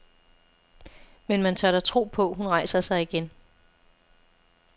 Men man tør da tro på, hun rejser sig igen.